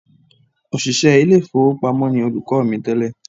Òṣìṣẹ́ ilé ìfowópamọ́ ni olùkọ́ mi tẹ́lẹ̀